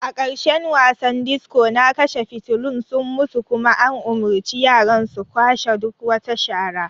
A ƙarshen wasan disco na kashe fitulun sun mutu kuma an umurci yaran su kwashe duk wata shara.